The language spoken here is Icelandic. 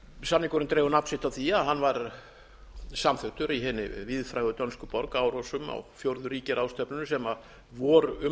samningurinn dregur nafn sitt af því að hann var samþykktur í hinni víðfrægu dönsku borg árósum á fjórðu ríkjaráðstefnunni sem voru um